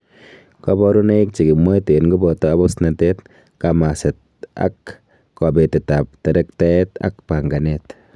Koborunoik chekimwoitoen koboto abusnatet, kamaset ak kobetetab terektaet ak panganet.